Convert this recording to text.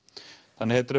þannig að